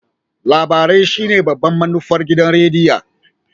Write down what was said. Labarai shine babban manufar gidan rediyo.